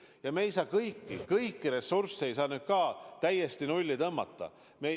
Ja me ei saa kõiki ressursse täiesti nulli tõmmata.